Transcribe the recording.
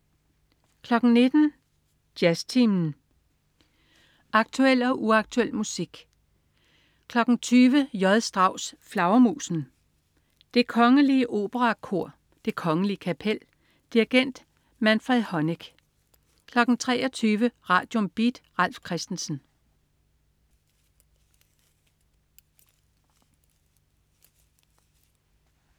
19.00 Jazztimen. Aktuel og uaktuel musik 20.00 J. Strauss: Flagermusen. Det Kongelige Operakor. Det Kongelige Kapel. Dirigent: Manfred Honeck 23.00 Radium. Beat. Ralf Christensen